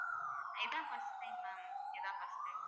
இதான் first time ma'am இதான் first time